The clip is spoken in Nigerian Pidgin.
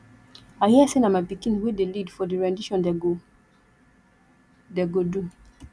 i hear say na my pikin wey dey lead for the rendition dey go dey go do